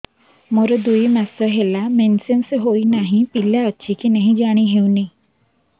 ମୋର ଦୁଇ ମାସ ହେଲା ମେନ୍ସେସ ହୋଇ ନାହିଁ ପିଲା ଅଛି କି ନାହିଁ ଜାଣି ହେଉନି